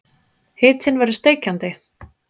Hitinn verður steikjandi.